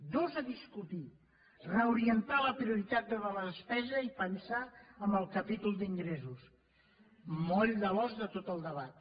dos a discutir reorientar la prioritat de la despesa i pensar en el capítol d’ingressos moll de l’os de tot el debat